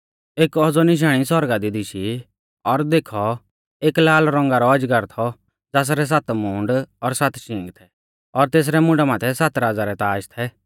एक औज़ौ निशाणी आसमाना दी दिशी और देखौ एक लाल रौंगा रौ अजगर थौ ज़ासरै सात मूंड और सात शींग थै और तेसरै मुंडा माथै सात राज़ा रै ताज़ थै